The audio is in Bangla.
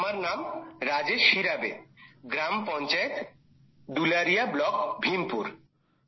আমার নাম রাজেশ হিরাবে গ্রাম পঞ্চায়েত দুলারিয়া ব্লক ভীমপুর